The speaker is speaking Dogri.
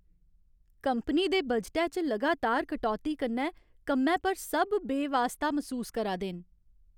कंपनी दे बजटै च लगातार कटौती कन्नै कम्मै पर सब बेवास्ता मसूस करा दे न।